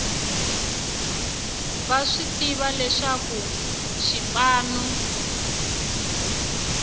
va swi tiva leswaku xipano